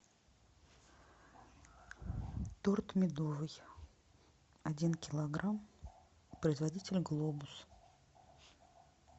торт медовый один килограмм производитель глобус